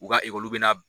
U ka ekɔliden bɛ na